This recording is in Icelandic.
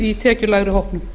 í tekjulægri hópnum